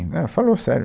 Né, falou sério